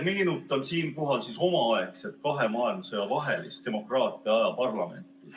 Meenutan siinkohal omaaegset kahe maailmasõja vahelist demokraatia aja parlamenti.